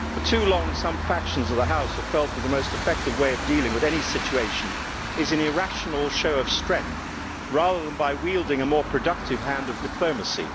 For too long, some factions of the House have felt that the most effective way of dealing with any situation is an irrational show of strength, rather than by wielding a more productive hand of diplomacy.